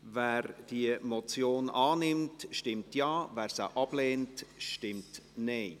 Wer die Motion annimmt, stimmt Ja, wer diese ablehnt, stimmt Nein.